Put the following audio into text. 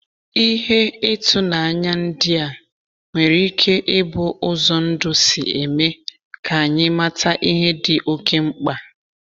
Ihe ịtụnanya ndị a nwere ike ịbụ ụzọ ndụ si eme ka anyị mata ihe dị okeh mkpa